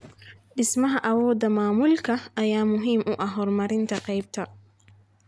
Dhismaha awoodda maamulka ayaa muhiim u ah horumarinta qaybta.